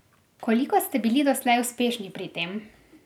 Koliko ste bili doslej uspešni pri tem?